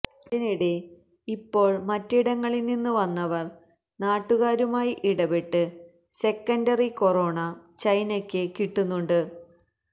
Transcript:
അതിനിടെ ഇപ്പോൾ മറ്റിടങ്ങളിൽനിന്ന് വന്നവർ നാട്ടുകാരുമായി ഇടപെട്ട് സെക്കൻഡറി കെറോണ ചൈനക്ക് കിട്ടുന്നുണ്ട്